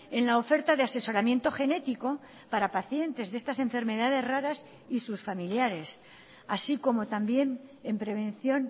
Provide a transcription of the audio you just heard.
en la oferta de asesoramiento genético para pacientes de estas enfermedades raras y sus familiares así como también en prevención